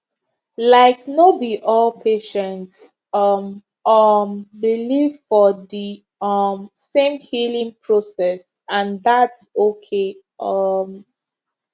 laik no bi all patients um um believe for di um same healing process and thats okay um